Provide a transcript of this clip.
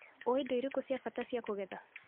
ũĩ indo irĩkũ cia bata cia kũgetha.